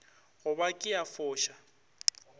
go ba ke a foša